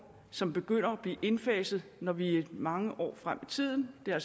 som begynder at blive indfaset når vi er mange år fremme i tiden det er